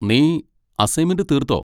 നീ അസ്സൈന്മെന്റ് തീർത്തോ?